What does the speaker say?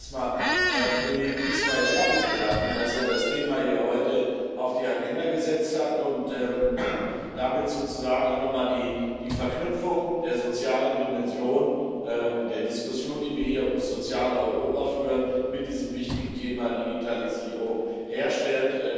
Ich möchte mich erstmal beim Kollegen Ismail Ertug bedanken, dass er das Thema hier heute auf die Agenda gesetzt hat und damit sozusagen auch nochmal die Verknüpfung der sozialen Dimension und der Diskussion, die wir hier über das soziale Europa führen, mit diesem wichtigen Thema, der Digitalisierung, herstellt.